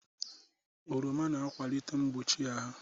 Oroma na-akwalite mgbochi ahụ.